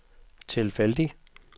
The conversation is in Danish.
tilfældig